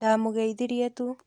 Ndamũgeithirie tu.